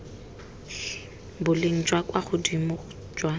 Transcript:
boleng jwa kwa godimo jwa